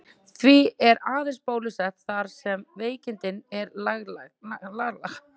Því er aðeins bólusett þar sem veikin er landlæg.